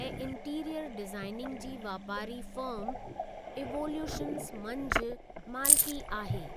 ऐं interior designing जी वापारी फ़र्म इवोल्यूशंस मंझि मालिकी आहे।